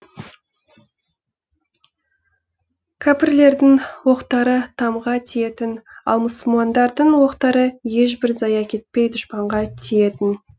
кәпірлердің оқтары тамға тиетін ал мұсылмандардың оқтары ешбір зая кетпей дұшпанға тиетін